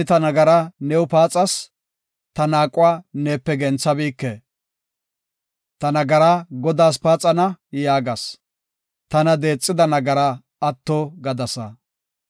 Taani ta nagaraa new paaxas; ta naaquwa neepe genthabike. “Ta nagaraa Godaas paaxana” yaagas; tana deexida nagaraa atto gadasa. Salaha